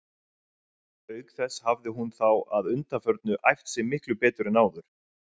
Auk þess hafði hún þá að undanförnu æft sig miklu betur en áður.